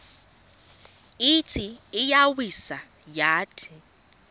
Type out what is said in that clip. ithi iyawisa yathi